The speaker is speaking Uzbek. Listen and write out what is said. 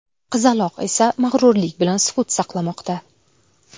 Qizaloq esa mag‘rurlik bilan sukut saqlamoqda.